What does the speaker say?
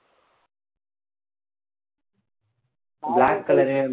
black colour உ